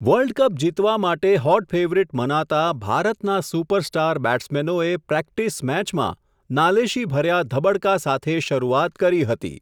World cup જીતવા માટે hot favourite મનાતા ભારતના સુપરસ્ટાર બેટ્સમેનોએ પ્રેક્ટિસ મેચમાં, નાલેશીભર્યા ધબડકા સાથે શરૂઆત કરી હતી.